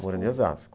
Morando em Osasco.